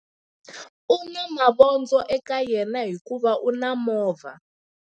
U na mavondzo eka yena hikuva u na movha.